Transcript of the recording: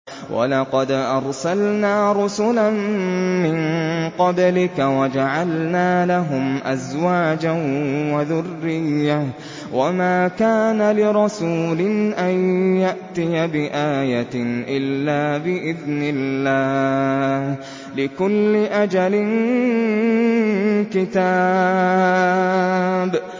وَلَقَدْ أَرْسَلْنَا رُسُلًا مِّن قَبْلِكَ وَجَعَلْنَا لَهُمْ أَزْوَاجًا وَذُرِّيَّةً ۚ وَمَا كَانَ لِرَسُولٍ أَن يَأْتِيَ بِآيَةٍ إِلَّا بِإِذْنِ اللَّهِ ۗ لِكُلِّ أَجَلٍ كِتَابٌ